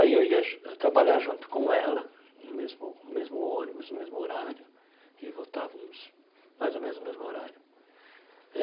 Aí eu ia ju trabalhar junto com ela, no mesmo mesmo ônibus, no mesmo horário, e voltávamos mais ou menos no mesmo horário.